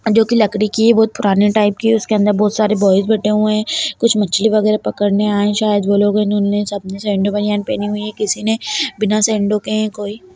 जो की लकड़ी की है बहोत पुराने टाइप की है उसके अंदर बहोत सारे बॉयज बैठे हुए हैं कुछ मछली वगेहरा पकड़ने आए हैं शायद वो लोगों उनने सबने सैंडो -बनियान पहनी हुई है किसीने बिना सैंडो के हैं कोई --